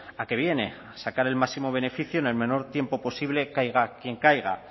a qué viene a sacar el máximo beneficio en el menor tiempo posible caiga quien caiga